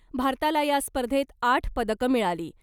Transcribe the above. भारताला या स्पर्धेत आठ पदकं मिळाली .